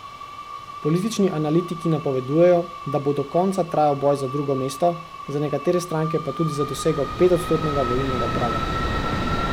Politični analitiki napovedujejo, da bo do konca trajal boj za drugo mesto, za nekatere stranke pa tudi za dosego petodstotnega volilnega praga.